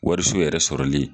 Wariso yɛrɛ sɔrɔli ye.